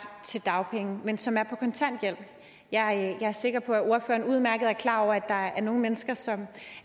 til dagpenge men som er på kontanthjælp jeg er sikker på at ordføreren udmærket er klar over at der er nogle mennesker som